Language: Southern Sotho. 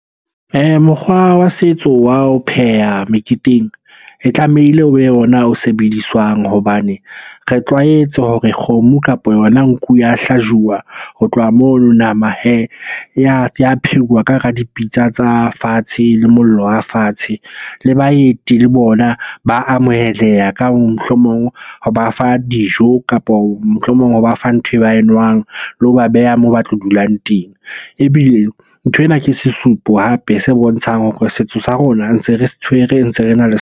Mokgwa wa setso wa ho pheha meketeng e tlamehile o be yona o sebediswang hobane re tlwaetse hore kgomo, kapa yona nku ya hlajuwa. Ho tloha moo nama hee ya pheuwa ka hara dipitsa tsa fatshe le mollo wa fatshe. Le baeti le bona ba amoheleha, ka mohlomong ho ba fa dijo kapo mohlomong ho ba fa ntho ba e nwang, le ho ba beha moo ba tlo dulang teng. Ebile nthwena ke sesupo hape se bontshang hore setso sa rona ntse re se tshwere, ntse re na .